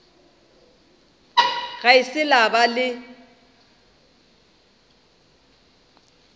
ga se la ba le